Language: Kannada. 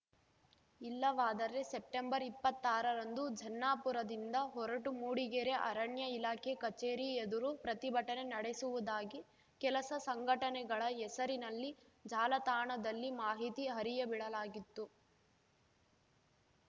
ಇಲ್ಲವಾದರೆ ಸೆಪ್ಟೆಂಬರ್ಇಪ್ಪತ್ತಾರರಂದು ಜನ್ನಾಪುರದಿಂದ ಹೊರಟು ಮೂಡಿಗೆರೆ ಅರಣ್ಯ ಇಲಾಖೆ ಕಚೇರಿ ಎದುರು ಪ್ರತಿಭಟನೆ ನಡೆಸುವುದಾಗಿ ಕೆಲಸ ಸಂಘಟನೆಗಳ ಹೆಸರಿನಲ್ಲಿ ಜಾಲ ತಾಣದಲ್ಲಿ ಮಾಹಿತಿ ಹರಿಯಬಿಡಲಾಗಿತ್ತು